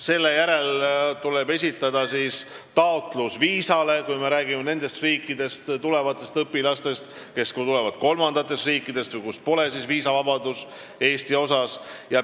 Selle järel tuleb nende riikide õpilastel, kes tulevad kolmandatest riikidest või sealt, kus pole viisavabadust Eestiga, esitada viisataotlus.